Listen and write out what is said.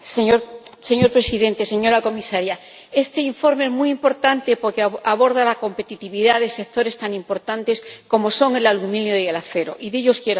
Señor Presidente, señora Comisaria, este informe es muy importante porque aborda la competitividad de sectores tan importantes como son el aluminio y el acero, y de ellos quiero hablar.